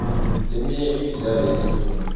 leminye imidlalo yetemfundvo